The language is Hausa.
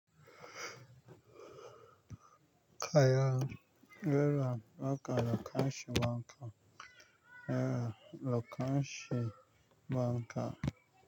Kaya. Yaya naka lokacin wanka? Yaya lokacin wanka?